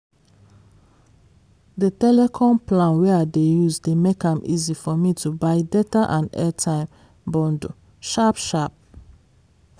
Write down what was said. the telecom plan wey i dey use dey make am easy for me to buy data and airtime bundle sharp-sharp.